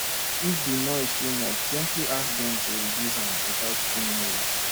if di noise too much gently ask dem to reduce am without being rude